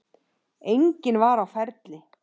Enginn var á ferli.